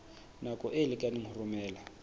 nako e lekaneng ho romela